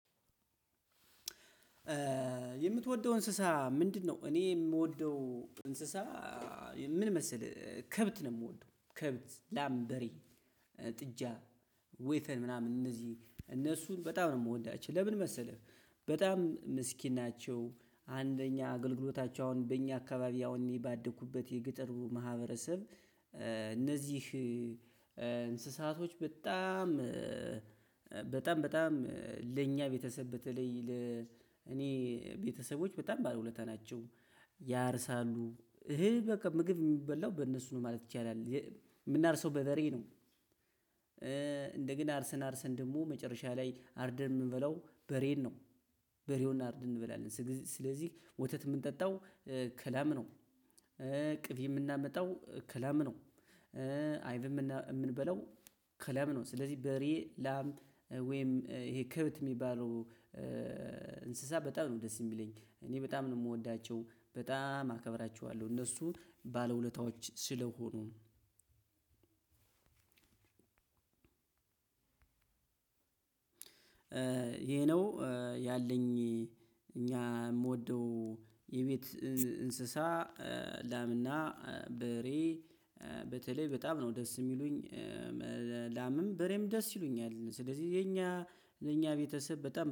የምትወደው እንስሳ ምንድነው? እኔ የምወደው እንስሳ ምን መሰለህ ከብት ነው የምወደው ከብት ላም በሬ ጥጃ ወይፈን ምናምን እነዚህ እነሱን በጣም ነው የምወዳቸው። ለምን መሰለህ? በጣም ምስኪን ናቸው። አንደኛ አገልግሎታቸው አሁን በእኛ አካባቢ አሁን የ እኔ ባደኩበት የገጠሩ ማህበረሰብ። እነዚህ እንስሳቶች በጣም በጣም በጣም ለኛ ቤተሰብ በተለይ ለ እኔ ቤተሰቦች በጣም ባለውለታ ናቸው። ያርሳሉ እህል በቃ ምግብ የሚበላው በእነሱ ነው ማለት ይቻላል። የምናርሰው በበሬ ነው። እንደገና አርሰን አርሰን ደግሞ መጨረሻ ላይ አርደን የምንበላው በሬን ነው። በሬውን አርደን እንበላለን ስለዚህ ወተት የምንጠጣው ከላም ነው። ቅቤ የምናመጣው ከላም ነው። አይብም የምንበለው ከላም ነው። ስለዚህ በሬ ላም ወይም ይሄ ክብት የሚባለው እንስሳ በጣም ነው ደስ የሚለኝ። እኔ በጣም ነው የምወዳቸው በጣም አከብራቸዋለሁ እነሱ ባለውለታዎች ስለሆኑ። ይሄ ነው። ያለኝ እኛ የምወደው የቤት እንስሳ ላምና በሬ በተለይ በጣም ነው ደስ የሚሉኝ። ላምም በሬም ደስ ይሉኛል ስለዚህ የኛ የኛ ቤተሰብ በጣም